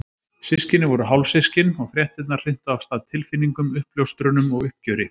Systkinin voru hálfsystkin og fréttirnar hrintu af stað tilfinningum, uppljóstrunum og uppgjöri.